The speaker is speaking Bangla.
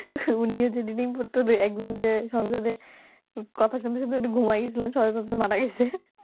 উনি যদি Reading পড়তে যায় একদিন ওই যে কথা শুনতে শুনতে উনি ঘুমাইয়া গেছিলেন সবাই ভাবছে মারা গেছে